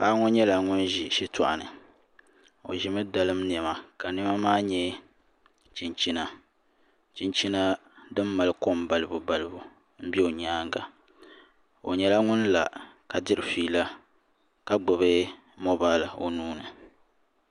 Paɣa ŋo nyɛla ŋun ʒi shitoɣu ni o ʒimi dalim niɛma ka niɛma maa nyɛ chinchina chinchina din mali kom balibu balibu n bɛ o nyaanga o nyɛla ŋun la ka diri fiila ka gbubi moobal o nuuni